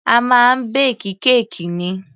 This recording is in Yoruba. A máa ń bake kéèkì ni.